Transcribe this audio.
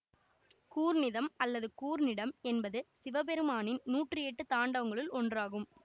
கூர்ணிதம் அல்லது கூர்நிடம் என்பது சிவபெருமானின் நூற்றியெட்டு தாண்டவங்களுள் ஒன்றாகும்